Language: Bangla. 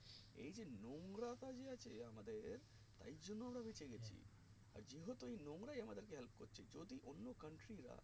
এই যে নোংড়া কাজে আছে আমাদের এর জন্য আমরা বেঁচে গেছি যেহেতু এই নোংরাই আমাদেরকে help করছে যদি অন্য country রা